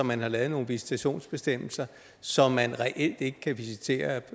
man har lavet nogle visitationsbestemmelser så man reelt ikke kan visitere